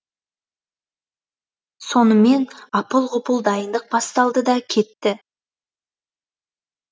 сонымен апыл ғұпыл дайындық басталды да кетті